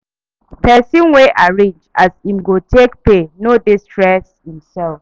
Pesin wey arrange as im go take pay no dey stress imself.